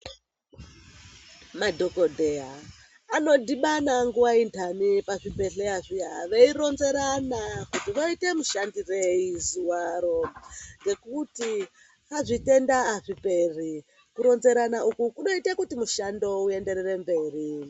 Madhokodheya anodhibana nguwa intani pazvibhehleya zviya veironzerana kuti voita mushandirei zuwaro ngekuti zvitenda azviperi kuronzerana uku kuinoite kuti mushando uyende mberi.